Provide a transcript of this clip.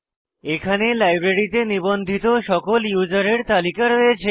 এখানে লাইব্রেরীতে নিবন্ধিত সকল ইউসারের তালিকা রয়েছে